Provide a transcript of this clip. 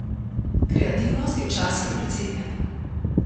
Kreativnost je včasih precenjena.